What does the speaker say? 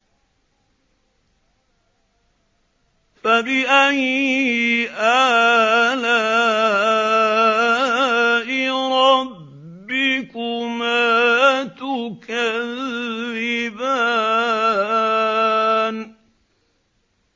فَبِأَيِّ آلَاءِ رَبِّكُمَا تُكَذِّبَانِ